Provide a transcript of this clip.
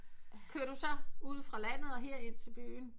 Kører du så ude fra landet og her ind til byen